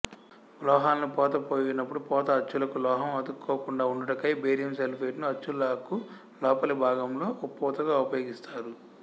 లోహాలను పోత పోయునప్పుడు పోత అచ్చులకు లోహం అతుక్కోకుండఉండు టకై బేరియం సల్ఫేట్ ను అచ్చులకులోపలి భాగంలో పూతగా ఉపయోగిస్తారు